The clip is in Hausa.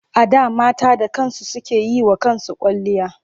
A da mata da kansu suke yi wa kansu kwalliya.